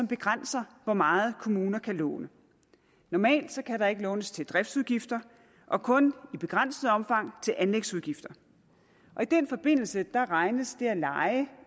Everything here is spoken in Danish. begrænser hvor meget kommuner kan låne normalt kan der ikke lånes til driftsudgifter og kun i begrænset omfang til anlægsudgifter i den forbindelse regnes det at leje